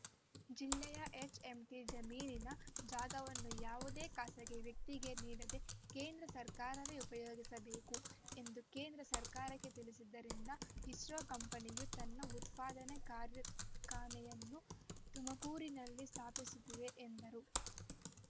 ಜಿಲ್ಲೆಯ ಹೆಚ್ಎಂಟಿ ಜಮೀನಿನ ಜಾಗವನ್ನು ಯಾವುದೇ ಖಾಸಗಿ ವ್ಯಕ್ತಿಗೆ ನೀಡದೆ ಕೇಂದ್ರ ಸರ್ಕಾರವೇ ಉಪಯೋಗಿಸಬೇಕು ಎಂದು ಕೇಂದ್ರ ಸರ್ಕಾರಕ್ಕೆ ತಿಳಿಸಿದ್ದರಿಂದ ಇಸ್ರೋ ಕಂಪನಿಯು ತನ್ನ ಉತ್ಪಾದನೆ ಕಾರ್ಖಾನೆಯನ್ನು ತುಮಕೂರಿನಲ್ಲಿ ಸ್ಥಾಪಿಸುತ್ತಿದೆ ಎಂದರು